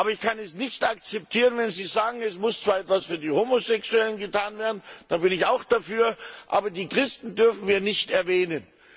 Ich kann es nicht akzeptieren, wenn Sie sagen, es muss zwar etwas für die Homosexuellen getan werden da bin ich auch dafür aber die Christen dürfen wir nicht erwähnen.